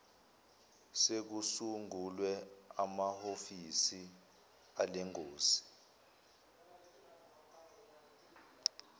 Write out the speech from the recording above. sekusungulwe amahovisi alengosi